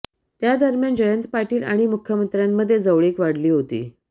त्या दरम्यान जयंत पाटील आणि मुख्यमंत्र्यांमध्ये जवळीक वाढली होती